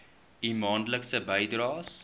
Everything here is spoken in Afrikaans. u maandelikse bydraes